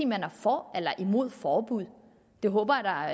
man er for eller imod forbud det håber jeg